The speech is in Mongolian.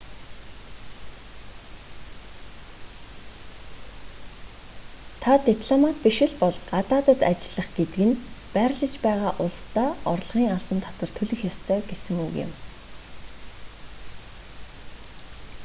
та дипломат биш л бол гадаад ажиллах гэдэг нь байрлаж байгаа улсдаа орлогын албан татвар төлөх ёстой гэсэн үг юм